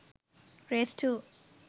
race 2